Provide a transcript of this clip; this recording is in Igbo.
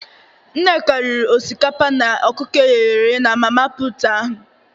Nneka riri osikapa na okuko eghere eghe na mama put ahụ